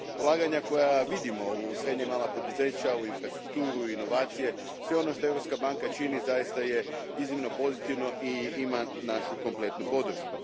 Ulaganja koja vidimo u srednja i mala poduzeća, u infrastrukturu, inovacije, sve ono što Europska banka čini zaista je iznimno pozitivno i ima našu kompletnu podršku.